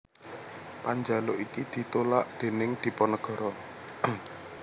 Panjaluk iki ditulak déning Dipanagara